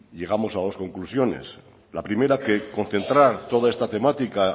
llegamos a dos conclusiones la primera que concentrar toda esta temática